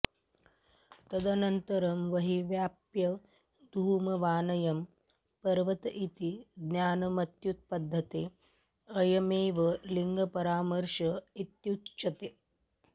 तदनन्तरं वह्निव्याप्यधूमवानयं पर्वत इति ज्ञानमुत्पद्यते अयमेव लिंगपरामर्श इत्युच्यते